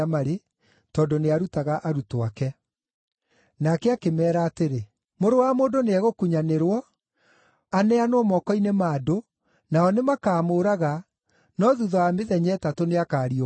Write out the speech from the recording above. tondũ nĩarutaga arutwo ake. Nake akĩmeera atĩrĩ, “Mũrũ wa Mũndũ nĩegũkunyanĩrwo aneanwo moko-inĩ ma andũ, nao nĩmakamũũraga, no thuutha wa mĩthenya ĩtatũ nĩakariũka.”